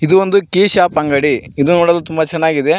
ಇದು ಒಂದು key shop ಅಂಗಡಿ ಇದು ನೋಡಲು ತುಂಬ ಚೆನ್ನಾಗಿದೆ.